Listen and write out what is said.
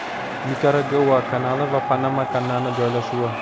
Nikaragua kanali va Panama kanali joylashuvi.